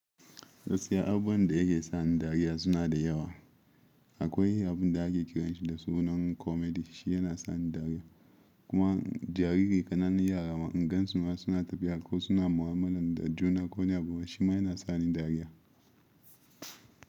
Gaskiya abun da yake sa ni dariya suna da yawa. Akwai abun da ke kiranshi da sunan comedy shi yana sa ni dariya. Kuma jariri kananan yara ma in gansu ma suna tafiya ko suna mu’amala da juna ko wani abu shima yana sa ni dariya.